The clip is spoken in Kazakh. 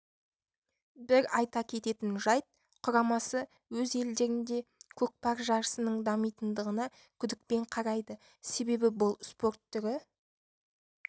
бір айта кететін жайт құрамасы өз елдерінде көкпар жарысының дамитындығына күдікпен қарайды себебі бұл спорт түрі